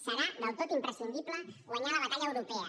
serà del tot imprescindible guanyar la batalla europea